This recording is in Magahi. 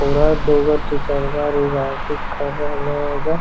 उधर दू गो टीचर बा रिगार्डिंग कर रहलो एजा।